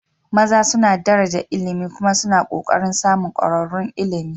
maza suna daraja ilimi kuma suna ƙoƙarin samun ƙwararrun ilimi